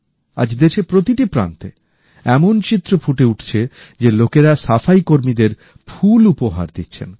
আজ দেশের প্রতিটি প্রান্তে এমন চিত্র ফুটে উঠছে যে লোকেরা সাফাই কর্মীদের ফুল উপহার দিচ্ছেন